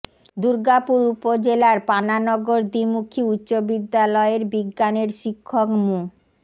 দুর্গাপুর উপজেলার পানানগর দ্বিমুখী উচ্চ বিদ্যালয়ের বিজ্ঞানের শিক্ষক মো